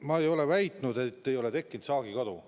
Ma ei ole väitnud, et ei ole tekkinud saagikadu.